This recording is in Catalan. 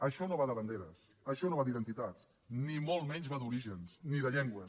això no va de banderes això no va d’identitats ni molt menys va d’orígens ni de llengües